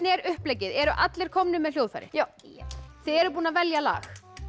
er uppleggið eru allir komnir með hljóðfæri já þið eruð búin að velja lag